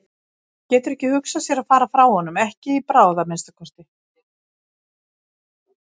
Hún getur ekki hugsað sér að fara frá honum, ekki í bráð að minnsta kosti.